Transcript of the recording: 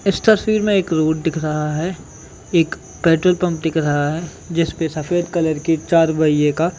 इस तस्वीर में एक रोड दिख रहा है एक पेट्रोल पंप दिख रहा है जिसपे सफ़ेद कलर का चार पहिये का--